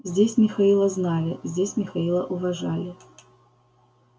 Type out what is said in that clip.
здесь михаила знали здесь михаила уважали